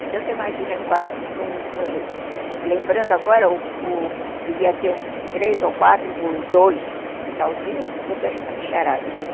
Então, você imagina, lembrando agora, devia ter uns três ou quatro por dois, o quintalzinho, com tanta essa bicharada toda.